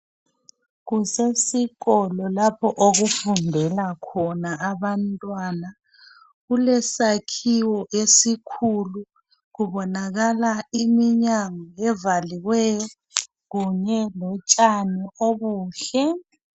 Kusesikolo lapho okufundela khona abantwana kulesakhiwo esikhulu kubonakala iminyango evaliweyo kunye lotshani obuhle